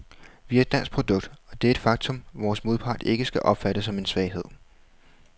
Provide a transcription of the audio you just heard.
Vi er et dansk produkt, og det er et faktum, vores modpart ikke skal opfatte som en svaghed.